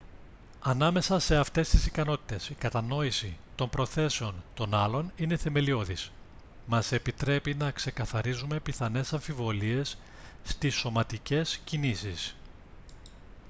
ανάμεσα σε αυτές τις ικανότητες η κατανόηση των προθέσεων των άλλων είναι θεμελιώδης μας επιτρέπει να ξεκαθαρίζουμε πιθανές αμφιβολίες στις σωματικές κινήσεις